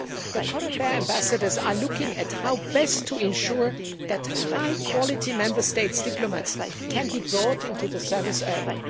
The COREPER ambassadors are looking at how best to ensure that high quality Member States' diplomats can be brought into the service early.